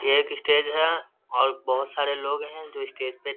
ये एक स्टेज है और बहोत सारे लोग हैं जो स्टेज पे --